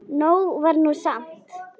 Nóg var nú samt.